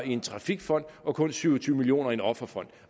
i en trafikfond og kun syv og tyve million kroner i en offerfond